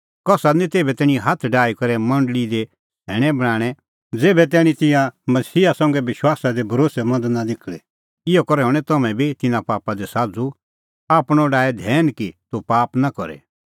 कसा दी निं तेभै तैणीं हाथ डाही करै मंडल़ी दी सैणैं बणांणैं ज़ेभै तैणीं तिंयां मसीहा संघै विश्वासा दी भरोस्सैमंद नां निखल़े इहअ करै हणैं तम्हैं बी तिन्नें पापा दी साझ़ू आपणअ डाहै धैन कि तूह पाप नां करे